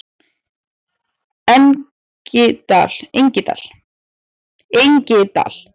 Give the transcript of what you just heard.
Engidal